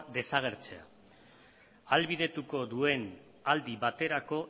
desagertzea ahalbidetuko duen aldi baterako